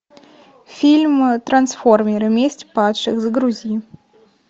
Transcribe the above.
фильм трансформеры месть падших загрузи